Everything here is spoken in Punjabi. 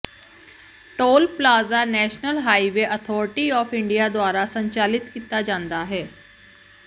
toll plaza national highway authority of India ਦੁਆਰਾ ਸੰਚਾਲਿਤ ਕੀਤਾ ਜਾਂਦਾ ਹੈ